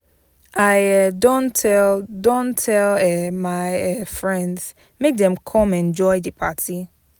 I um don tell don tell um my um friends make dem come enjoy di party.